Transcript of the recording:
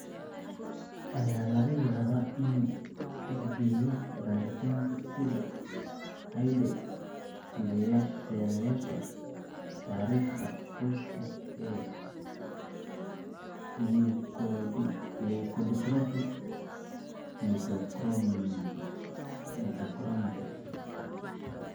Ayaa laga yaabaa inuu tixgeliyo baaritaanka side hidde-sideyaasha taariikhda qoyska ee leukodystrophy metachromatic?